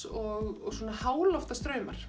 og svona